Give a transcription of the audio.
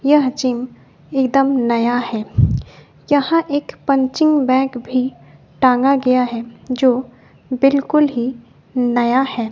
यह जिम एकदम नया है यहां एक पंचिंग बैग भी टांगा गया है जो बिल्कुल ही नया है।